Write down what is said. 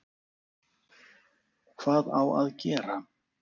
Hvað á að gera?